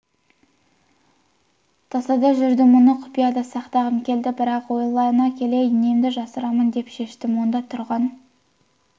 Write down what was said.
тасада жүрдім мұны құпияда сақтағым келді бірақ ойлана келе немді жасырамын деп шештім онда тұрған